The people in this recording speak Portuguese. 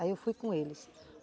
Aí eu fui com eles.